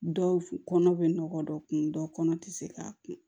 Dɔw kɔnɔ bɛ nɔgɔ dɔ kun dɔ kɔnɔ tɛ se k'a kun